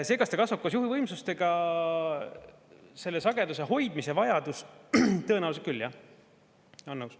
See, kas ta kasvab koos juhuvõimsustega, selle sageduse hoidmise vajadus – tõenäoliselt küll jah, olen nõus.